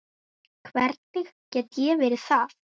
Hvernig get ég verið það?